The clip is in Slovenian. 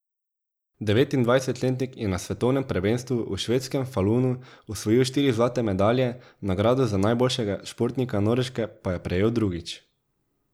Devetindvajsetletnik je na svetovnem prvenstvu v švedskem Falunu osvojil štiri zlate medalje, nagrado za najboljšega športnika Norveške pa je prejel drugič.